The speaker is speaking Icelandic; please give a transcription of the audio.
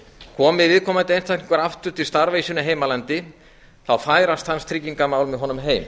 komi viðkomandi einstaklingur aftur til starfa í sínu heimalandi færast hans tryggingamál með honum heim